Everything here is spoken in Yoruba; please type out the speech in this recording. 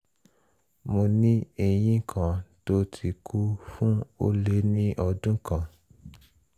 mo ní eyín kan tó ti kú fún ó lé ní ọdún kan